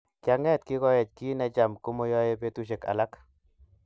Kianget kikoech kiy necham komoyoei betushek alak